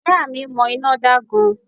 Ìyá à mi mo iná da gan